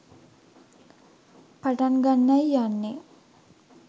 පටන් ගන්නයි යන්නේ